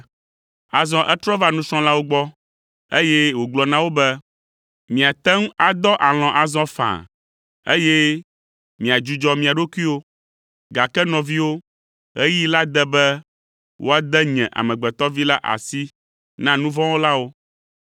Azɔ etrɔ va nusrɔ̃lawo gbɔ, eye wògblɔ na wo be, “Miate ŋu adɔ alɔ̃ azɔ faa, eye miadzudzɔ mia ɖokuiwo, gake nɔviwo, ɣeyiɣi la de be woade nye Amegbetɔ Vi la asi na nu vɔ̃ wɔlawo.